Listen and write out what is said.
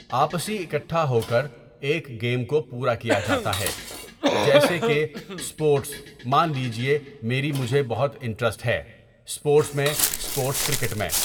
آپسی اِکھٹا ہو کر ایک گیم کو پورا کیا جاتا ہے جیسے کہ اسپورٹس مان لیجئے میری مجھے بہت انٹرسٹ ہے اسپورٹس میں اسپورٹس کرکٹ میں.